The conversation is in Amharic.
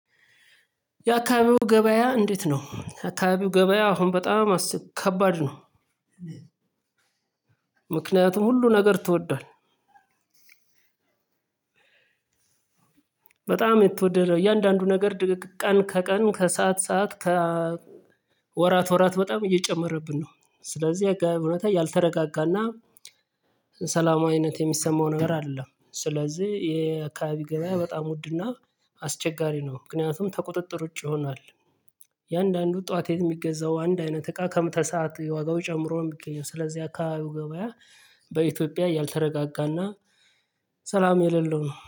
የአካባቢው ገበያ እንዴት ነው? አካባቢው ገበያ አሁን በጣም ከባድ ነው። ምክንያቱም ሁሉ ነገር ተወዷል። በጣም የተወደደ እያንዳንዱ ነገር ቀን ከቀን ከሰአት ሰዓት ከ ወራት ወራት በጣም እየጨመረብን ነው። ስለዚህ የአካባቢው ሁኔታ ያልተረጋጋና ሰላማዊነት የሚሰማው ነገር አይደለም። ስለዚህ የአካባቢ ገበያ በጣም ውድና አስቸጋሪ ነው። ምክንያቱም ተቁጥጥር ውጪ ይሆናል። እያንዳንዱ ጠዋት የሚገዛው አንድ አይነት እቃ ከምትተሰዓት ዋጋው ጨምሮ ነው የሚገኘው። ስለዚህ አካባቢው ገበያ በኢትዮጵያ ያልተረጋጋና ሰላም የሌለው ነው